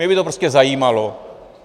Mě by to prostě zajímalo.